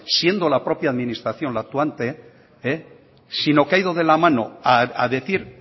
siendo la propia administración la actuante sino que ha ido de la mano a decir